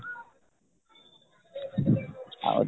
ଆଉ